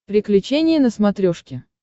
приключения на смотрешке